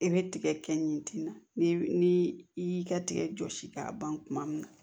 I bɛ tigɛ kɛ ɲɛ ten na ni i y'i ka tigɛ jɔsi k'a ban kuma min na